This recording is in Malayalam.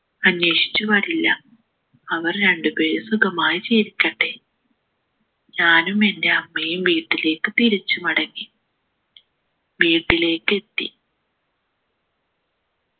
അന്വേഷിച്ചു വരില്ല അവർ രണ്ടുപേരും സുഖമായി ജീവിക്കട്ടെ ഞാനും എൻ്റെ അമ്മയും വീട്ടിലേക്ക് തിരിച്ചു മടങ്ങി വീട്ടിലേക്ക് എത്തി